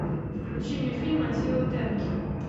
включи мне фильм аттилы тенки